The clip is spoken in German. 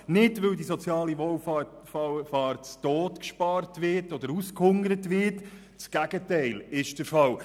Nicht, weil die soziale Wohlfahrt zu Tode gespart oder ausgehungert wird – das Gegenteil ist der Fall.